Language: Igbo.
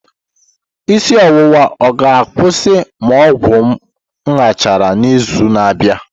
Isi ọwụwa ọ ga-akwụsị ma ọgwụ m gachara n'izu na-abịa?